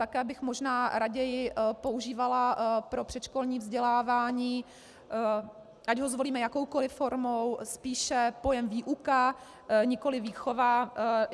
Také bych možná raději používala pro předškolní vzdělávání, ať ho zvolíme jakoukoliv formou, spíše pojem výuka, nikoliv výchova.